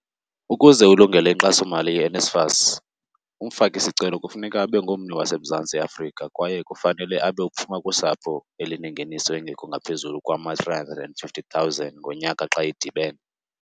Ukuze ulungele inkxasomali ye-NSFAS, umfaki-sicelo kufuneka abe ngummi waseMzantsi Afrika kwaye kufanele abe uphuma kusapho elinengeniso engekho ngaphezulu kwama-R350 000 ngonyaka xa idibene.